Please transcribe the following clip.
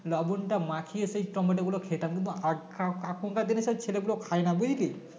লবন তা মাখিয়ে সেই টমেটো গুলো খেতাম কিন্তু আগ এখ~ এখানকার দিনে সব ছেলে গুলো খায়না বুঝলি